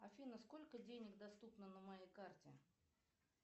афина сколько денег доступно на моей карте